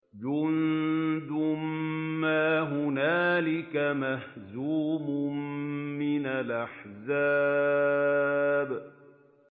جُندٌ مَّا هُنَالِكَ مَهْزُومٌ مِّنَ الْأَحْزَابِ